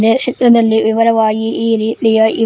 ಈ ಶೆಟ್ಟರ್ ನಲ್ಲಿ ವಿವರವಾಗಿ ಇವೆ.